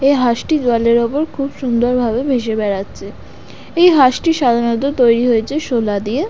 এ হাঁসটি জলের উপর খুব সুন্দর ভাবে মিশে বেড়াচ্ছে । এই হাঁসটি সাধারণত তৈরি হয়েছে শোলা দিয়ে।